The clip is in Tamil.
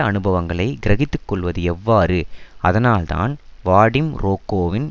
அனுபவங்களை கிரகித்துக்கொள்வது எவ்வாறு அதனால்தான் வாடிம் ரொகோவின்